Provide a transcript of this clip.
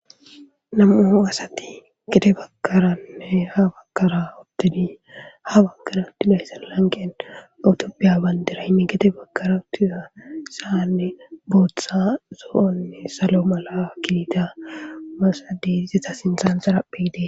Nam7u asathi gede baggaranne ha baggara uththidi ha baggara uththiza lanqqen ethoophphiya banddiraynne gede baggara uththida sa7ani booththa, zo7onne, salo mala gidiza masathes; iza sinththankka xaraphphee de7ees.